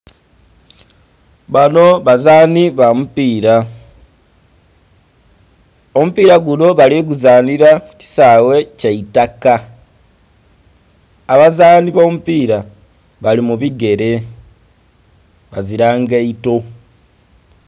Banho bazanhi bamupila, omupila gunho bali guzanhila kukisaghe kyeitaka, abazanhi abomupila bali mubigele bazila ngaito